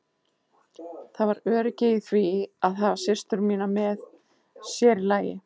Það var öryggi í því að hafa systur mínar með, sér í lagi